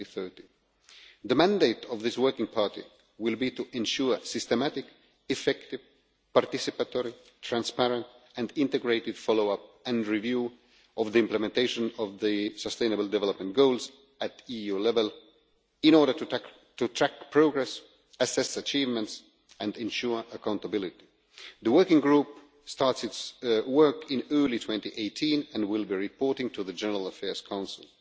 2030. The mandate of this working party will be to ensure systematic, effective, participatory, transparent and integrated follow up and review of the implementation of the Sustainable Development Goals at EU level in order to track progress, assess achievements and ensure accountability. The working group starts its work in early 2018 and will be reporting to the General Affairs Council.